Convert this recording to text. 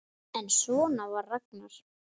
En svona var Ragnar.